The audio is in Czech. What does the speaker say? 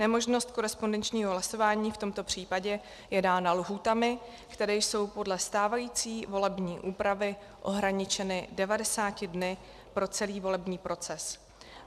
Nemožnost korespondenčního hlasování v tomto případě je dána lhůtami, které jsou podle stávající volební úpravy ohraničeny 90 dny pro celý volební proces.